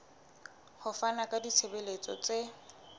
ho fana ka ditshebeletso tse